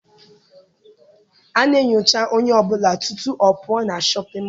A na-enyocha onye ọbụla tutu ọ pụọ na shọpịn mọọ.